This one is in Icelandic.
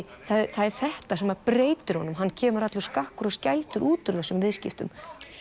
það er þetta sem breytir honum hann kemur allur skakkur og út úr þessum viðskiptum